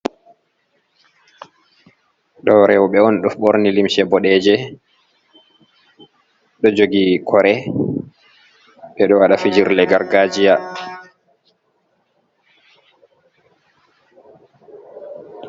Ɗo rewɓe on ɗo ɓorni limce boɗeje ɗo jogi kore. Ɓeɗo waɗa fijirle gargajiya.